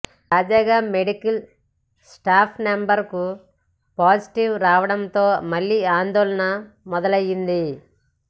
తాజాగా medical staff మెంబర్కి positive రావడంతో మళ్లీ ఆందోళన మొదలైంది